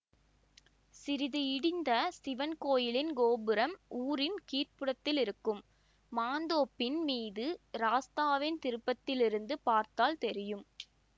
சிறிது இடிந்த சிவன் கோயிலின் கோபுரம் ஊரின் கீழ்ப்புறத்திலிருக்கும் மாந்தோப்பின் மீது ராஸ்தாவின் திருப்பத்திலிருந்து பார்த்தால் தெரியும்